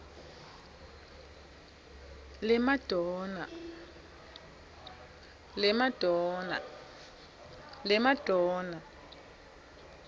lemadonna